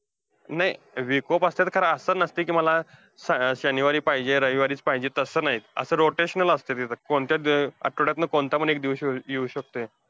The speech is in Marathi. नाही week off असतात खरं. असलं नसतंय कि मला शनिवारी पाहिजे, रविवारीच पाहिजे तसं नाही. असं rotational असतंय. कोणत्या अं आठ्वड्यातनं कोणता पण एक दिवशी येऊ शकतंय.